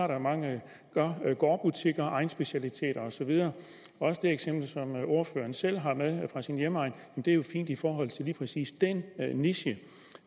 der er mange gårdbutikker egnsspecialiteter og så videre også det eksempel som ordføreren selv har med fra sin hjemegn er jo fint i forhold til lige præcis den niche